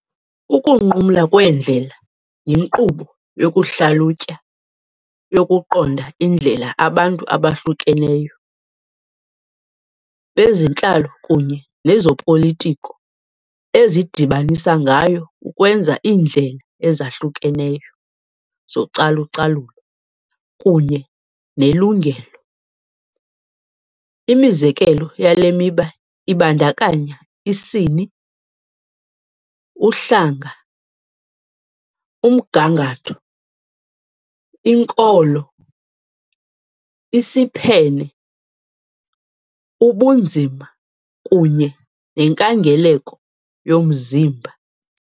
Ukunqumla Kweendlela yinkqubo yokuhlalutya yokuqonda indlela abantu abahlukeneyo, bezentlalo kunye nezopolitiko ezidibanisa ngayo ukwenza iindlela ezahlukeneyo zocalucalulo kunye nelungelo . Imizekelo yale miba ibandakanya isini, uhlanga, umgangatho, inkolo, isiphene, ubunzima kunye nenkangeleko yomzimba .